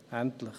Endlich.